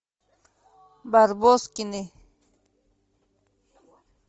барбоскины